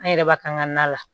An yɛrɛ b'a kan ka na